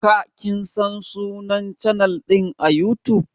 Ka /kin San sunnan chanal din à YouTube?